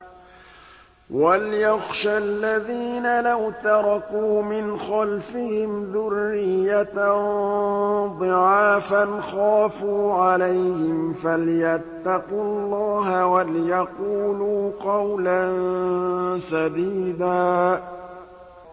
وَلْيَخْشَ الَّذِينَ لَوْ تَرَكُوا مِنْ خَلْفِهِمْ ذُرِّيَّةً ضِعَافًا خَافُوا عَلَيْهِمْ فَلْيَتَّقُوا اللَّهَ وَلْيَقُولُوا قَوْلًا سَدِيدًا